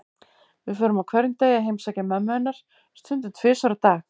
Við förum á hverjum degi að heimsækja mömmu hennar, stundum tvisvar á dag.